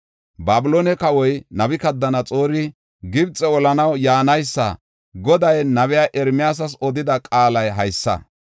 Babiloone kawoy Nabukadanaxoori Gibxe olanaw yaanaysa, Goday nabiya Ermiyaasas odida qaalay haysa: